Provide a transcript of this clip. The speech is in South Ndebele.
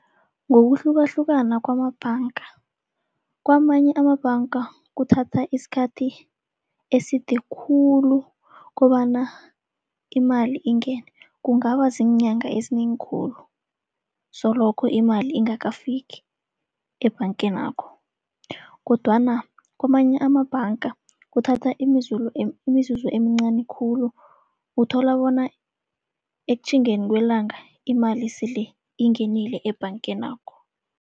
Ngokuhlukahlukana kwamabhanga, kwamanye amabhanga kuthatha isikhathi eside khulu kobana imali ingene. Kungaba ziinyanga ezinengi khulu, soloko imali ingakafiki ebhangenakho. Kodwana kwamanye amabhanga kuthatha imizuzu emincani khulu, uthola bona ekutjhingeni kwelanga imali sele ingenile ebhangenakho.